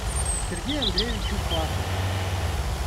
сергею андреевичу паку